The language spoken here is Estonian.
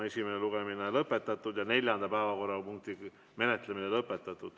Esimene lugemine on lõpetatud ja neljanda päevakorrapunkti menetlemine lõpetatud.